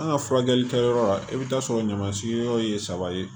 An ka furakɛli kɛyɔrɔ la i bɛ taa sɔrɔ ɲamansiyɔrɔ ye saba ye